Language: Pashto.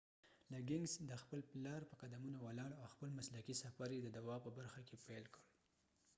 لګنګز د خپل پلار په قدمونو ولاړ او خپل مسلکی سفر یی د دوا په برخه کی پیل کړ